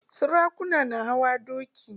Sarakuna na hawa doki